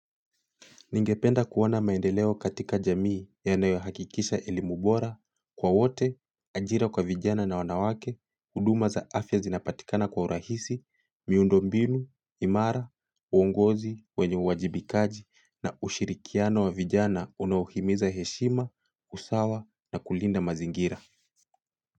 Ningependa kuona maendeleo katika jamii yanayohakikisha elimu bora kwa wote, ajira kwa vijana na wanawake, huduma za afya zinapatikana kwa urahisi, miundombinu imara, uongozi wenye uwajibikaji na ushirikiano wa vijana unaohimiza heshima, usawa na kulinda mazingira.